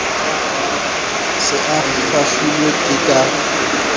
se a kgahlilwe ke ka